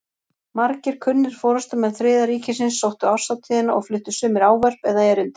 Margir kunnir forystumenn Þriðja ríkisins sóttu árshátíðina og fluttu sumir ávörp eða erindi.